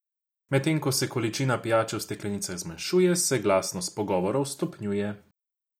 Medtem ko se količina pijače v steklenicah zmanjšuje, se glasnost pogovorov stopnjuje.